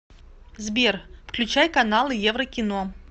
сбер включай каналы еврокино